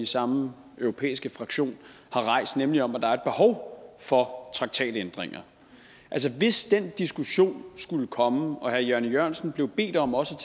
samme europæiske fraktion som har rejst nemlig om at der er et behov for traktatændringer altså hvis den diskussion skulle komme og herre jan e jørgensen blev bedt om også